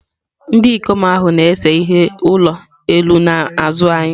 Ndị ikom ahụ na-ese ihe ụlọ elu n'azụ anyị.